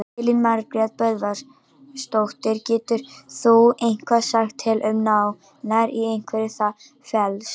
Elín Margrét Böðvarsdóttir: Getur þú eitthvað sagt til um nánar í hverju það felst?